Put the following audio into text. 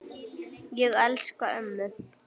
Ég elska ömmu.